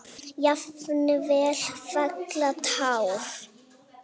Jafnvel fella tár.